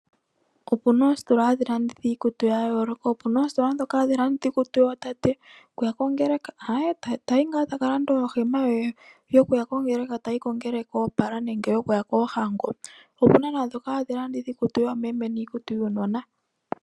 Opena oositola dhono hadhi landitha iikutu yayooloka opena oositola dhono hadhi landitha iikutu yootate yokuya kongeleka. Tayi ngaa etalanda ohema ye yokuya kongeleka etayi kongeleka oopala nenge yokuya koohango. Opena ndhoka hadhi landitha iikutu yoomeme niikutu yuunona.